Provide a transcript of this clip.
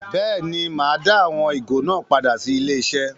Bẹ́ẹ̀ ni, màá dá àwọn ìgò náà sí ilé-iṣẹ́.